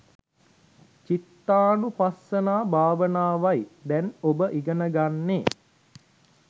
චිත්තානුපස්සනා භාවනාවයි දැන් ඔබ ඉගෙන ගන්නේ.